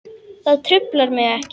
Það truflar mig ekki.